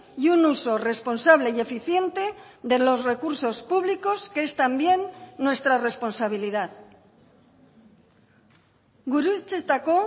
y un uso responsable y eficiente de los recursos públicos que es también nuestra responsabilidad gurutzetako